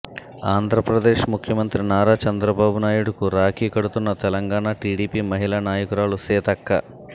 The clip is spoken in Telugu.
ఆంధ్రప్రదేశ్ ముఖ్యమంత్రి నారా చంద్రబాబు నాయుడుకు రాఖీ కడుతున్న తెలంగాణ టిడిపి మహిళా నాయకురాలు సీతక్క